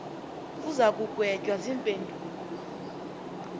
uza kugwetywa ziimpendulo